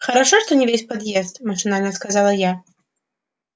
хорошо что не весь поезд машинально сказала я